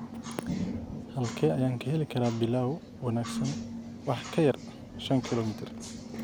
halkee ayaan ka heli karaa Pilau wanaagsan wax ka yar shan kiiloomitir